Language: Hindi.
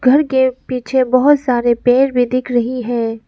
घर के पीछे बहोत सारे पेड़ भी दिख रही है।